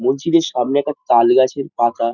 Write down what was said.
মসজিদের সামনে একটা তাল গাছের পাতা।